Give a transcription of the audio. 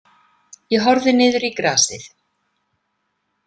Ég horfði niður í grasið.